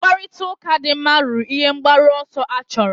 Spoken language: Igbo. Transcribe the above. Mkparịta ụka dị mma ruru ihe mgbaru ọsọ achọrọ